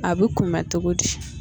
A bɛ kunbɛn cogo di